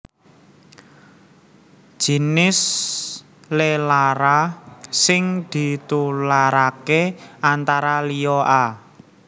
Jinis lelara sing ditularaké antara liya a